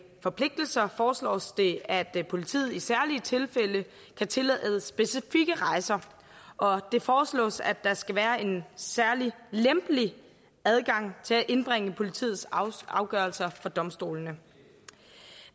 forpligtelser foreslås det at politiet i særlige tilfælde kan tillade specifikke rejser og det foreslås at der skal være en særlig lempelig adgang til at indbringe politiets afgørelser for domstolene